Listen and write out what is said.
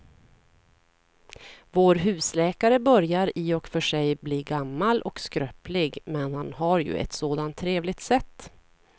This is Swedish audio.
Vår husläkare börjar i och för sig bli gammal och skröplig, men han har ju ett sådant trevligt sätt!